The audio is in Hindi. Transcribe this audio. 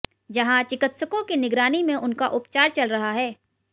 जहां चिकित्सकों की निगरानी में उनका उपचार चल रहा है